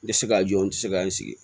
N tɛ se k'a jɔ n tɛ se k'an sigi